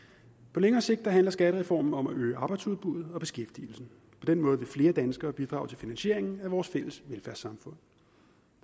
på længere sigt handler skattereformen om at øge arbejdsudbuddet og beskæftigelsen på den måde vil flere danskere bidrage til finansieringen af vores fælles velfærdssamfund